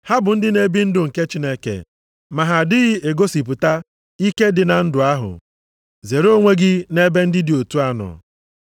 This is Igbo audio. Ha bụ ndị na-ebi ndụ ndị nke Chineke ma ha adịghị egosipụta ike dị na ndụ ahụ. Zere onwe gị nʼebe ndị dị otu a nọ.